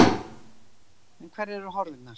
En hverjar eru horfurnar?